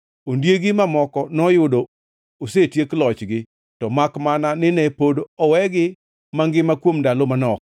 Ondiegi mamoko noyudo osetiek lochgi, to makmana nine pod owegi mangima kuom ndalo manok.